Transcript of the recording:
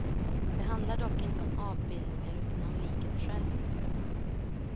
Det handlar dock inte om avbildningar utan om liket självt.